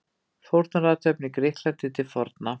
Fórnarathöfn í Grikklandi til forna.